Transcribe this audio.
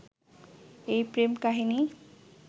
এই প্রেম-কাহিনী